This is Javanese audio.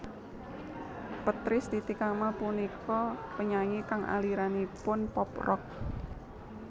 Petris Titi Kamal punika penyanyi kang aliranipun pop rock